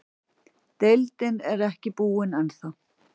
Deildin er ekki búinn ennþá.